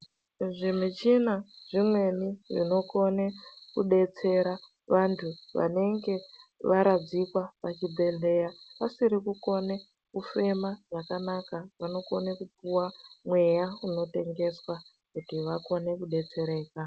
Zvimichina zvimweni zvinokone kudetsera vantu vanenge varadzikwa pachibhedhlera vasiri kukone kufema zvakanaka vanokone kupiwa mweya unotengeswa kuti vakone kudetsereka.